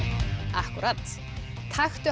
akkúrat taktu